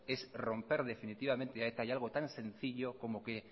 es romper definitivamente algo tan sencillo como que